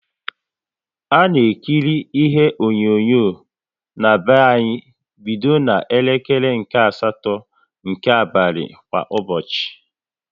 A na-ekiri ihe onyonyo na-be anyị bido na elekere nke asatọ nke abalị kwa ụbọchị